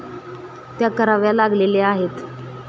त्या कराव्या लागलेल्या आहेत.